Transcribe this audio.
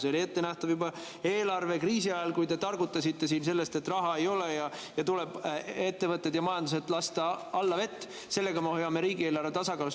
See oli ettenähtav juba eelarvekriisi ajal, kui te targutasite siin sellest, et raha ei ole ja tuleb lasta ettevõtted ja majandus allavett, sest sellega me hoiame riigieelarve tasakaalus.